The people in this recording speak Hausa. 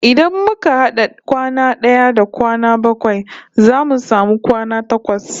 Idan muka had'a kwana d'aya da kwana bakwai zamu samu kwana takwas